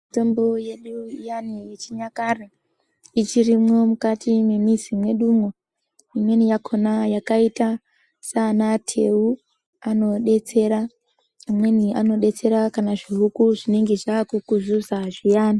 Mitombo yedu iyani yechinyakare ichirimwo mukati mwemizi mwedumwo. Imweni yakhona yakaita sana teu anodetsera amweni anodetsera kana zvihuku zvinenge zvakukuzuza zviyani.